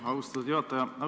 Aitäh, austatud juhataja!